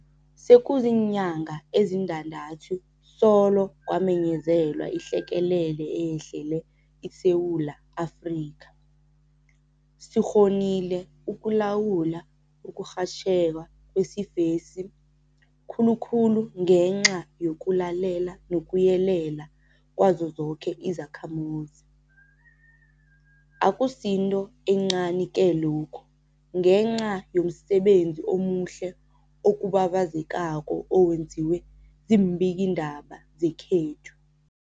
Sekuziinyanga ezintandathu solo kwamenyezelwa ihlekelele eyehlele iSewula Afrika. Sikghonile ukulawula ukurhatjheka kwesifesi, khulu khulu ngenca yokulalela nokuyelela kwazo zoke izakhamuzi. Akusinto encani-ke lokhu ngenca yomsebenzi omuhle okubabazekako owenziwe ziimbikiindaba zekhethu.